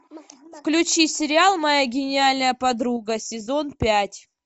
включи сериал моя гениальная подруга сезон пять